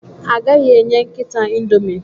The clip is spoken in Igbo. Agaghị enye nkịta Indomie